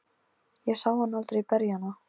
Ég sá hann aldrei berja hana.